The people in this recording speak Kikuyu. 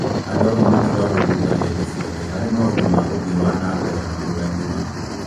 Andũ amwe matigagwo thũtha hĩndĩ ciothe harĩ maũndũ ma uthii wa nambere matũra-inĩ mao